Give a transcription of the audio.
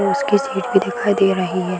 वो उसकी सीट भी दिखाई दे रही है।